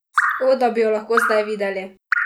O, da bi jo lahko zdaj videli!